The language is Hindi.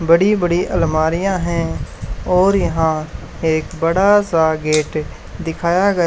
बड़ी बड़ी अलमारियां हैं और यहां एक बड़ा सा गेट दिखाया गया--